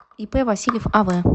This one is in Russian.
ип васильев ав